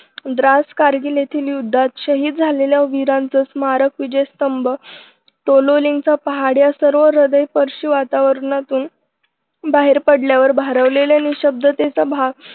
द्रास कारगिल येथील युद्धात शहीद झालेल्या वीरांच स्मारक विजयस्तंभ तोलोलिंगचा पहाड या सर्व हृदयस्पर्शी वातावरणातून बाहेर पडलेल्या भारावलेल्या निःशब्दतेचा भाग